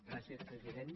gràcies president